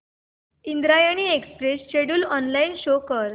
Indrayani express schedule online show कर